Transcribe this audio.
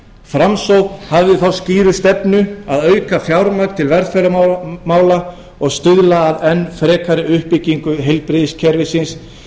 framsókn hafði þá skýru stefnu að auka fjármagn til velferðarmála og stuðla að enn frekari uppbyggingu heilbrigðiskerfisins